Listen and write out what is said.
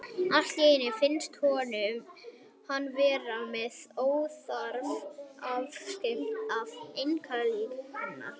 Allt í einu finnst honum hann vera með óþarfa afskiptasemi af einkalífi hennar.